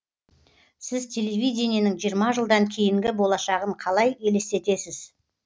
сіз телевидениенің жиырма жылдан кейінгі болашағын қалай елестесіз